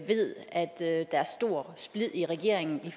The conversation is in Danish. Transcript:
ved at der er stor splid i regeringen